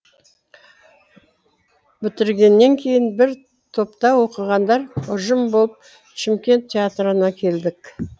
бітіргеннен кейін бір топта оқығандар ұжым болып шымкент театрына келдік